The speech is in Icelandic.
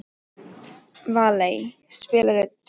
Valey, spilaðu tónlist.